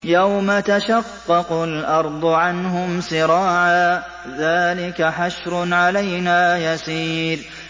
يَوْمَ تَشَقَّقُ الْأَرْضُ عَنْهُمْ سِرَاعًا ۚ ذَٰلِكَ حَشْرٌ عَلَيْنَا يَسِيرٌ